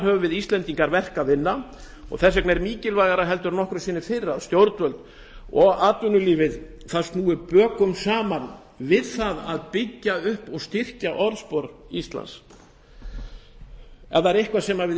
höfum við íslendingar verk að vinna og þess vegna er mikilvægara en nokkru sinni fyrr að stjórnvöld og atvinnulífið snúi bökum saman við að byggja upp og styrkja orðspor íslands ef það er eitthvað sem við